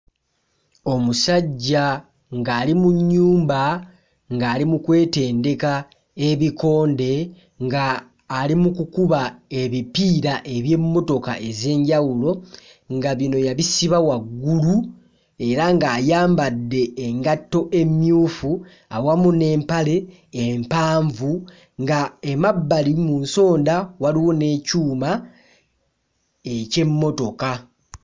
Omusajja ng'ali mu nnyumba, ng'ali mu kwetendeka ebikonde, nga ali mu kukuba ebipiira eby'emmotola ez'enjawulo, nga bino yabisiba waggulu era ng'ayambadde engatto emmyufu awamu n'empale empanvu nga emabbali mu nsonda waliwo n'ekyuma eky'emmotoka.